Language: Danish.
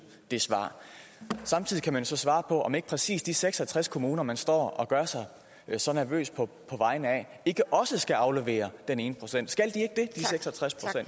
et svar samtidig kan man så svare på om ikke præcis de seks og tres kommuner man står og gør sig så nervøs på vegne af ikke også skal aflevere den ene procent